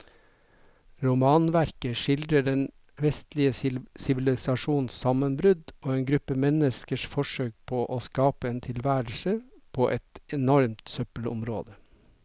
Romanverket skildrer den vestlige sivilisasjons sammenbrudd og en gruppe menneskers forsøk på å skape en tilværelse på et enormt søppelområde.